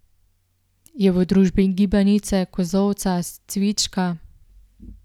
Je v družbi gibanice, kozolca, cvička...